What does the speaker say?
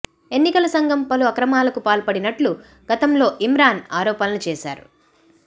ఎన్నికల సంఘం పలు అక్రమాలకు పాల్పడినట్లు గతంలో ఇమ్రాన్ ఆరోపణలు చేశారు